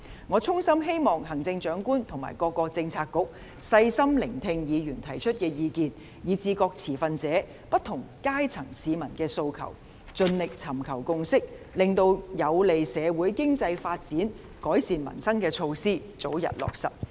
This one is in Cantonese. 我衷心希望行政長官及各政策局細心聆聽議員提出的意見，以及各持份者和不同階層市民的訴求，盡力尋求共識，令有利社會經濟發展和改善民生的措施得以早日落實。